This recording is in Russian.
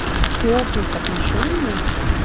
о тёплых отношениях